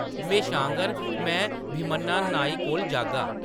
"म्हेशा आंह्‌गर, में भीमन्ना नाई कोल जागा ।